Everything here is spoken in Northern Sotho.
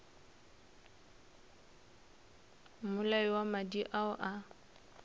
mmolai wa madi ao a